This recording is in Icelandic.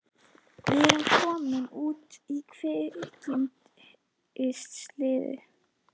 Við erum komnir út í kviksyndið!